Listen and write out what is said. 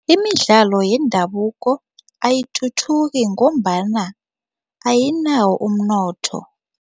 Imidlalo yendabuko ayithuthuki ngombana ayinawo umnotho.